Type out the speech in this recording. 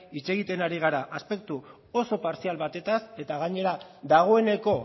hitz egiten ari gara aspektu oso partzial batez eta gainera dagoeneko